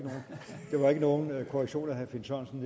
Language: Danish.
nogen korrektion af herre finn sørensen